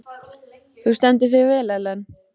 Þú stendur þig vel, Ellen!